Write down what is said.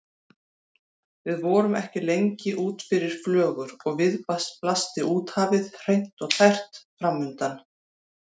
Við vorum ekki lengi út fyrir flögur og við blasti úthafið, hreint og tært, framundan.